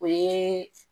O ye